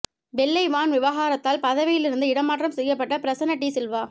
வெள்ளை வான் விவகாரத்தால் பதவியிலிருந்து இடமாற்றம் செய்யப்பட்ட பிரசன்ன டி சில்வா